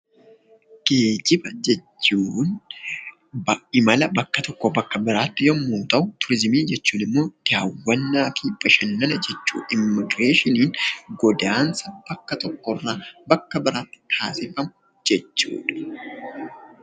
Geejiba jechuun imala bakka tokkoo bakka biraatti yemmuu ta'u, turizimii jechuun immoo daawwannaa bashannana immigireeshiniin godaansa bakka tokko irraa bakka biraatti taasifamu jechuudha